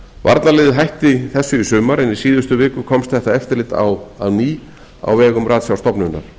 varnarliðið hætti þessu í sumar en í síðustu viku komst þetta eftirlit á aftur á vegum ratsjárstofnunar